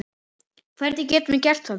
Hvernig getum við gert það?